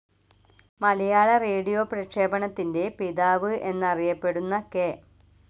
മലയാള radio പ്രക്ഷേപണത്തിന്റെ പിതാവ് എന്നറിയപ്പെടുന്ന കെ.